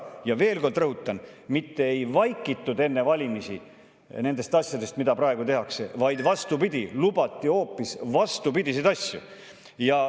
Ja veel kord rõhutan: mitte ei vaikitud enne valimisi nendest asjadest, mida praegu tehakse, vaid vastupidi, lubati hoopis vastupidiseid asju.